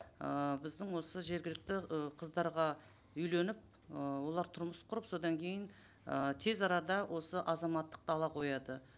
ыыы біздің осы жергілікті ы қыздарға үйленіп ыыы олар тұрмыс құрып содан кейін ы тез арада осы азаматтықты ала қояды